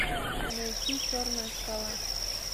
найти черная скала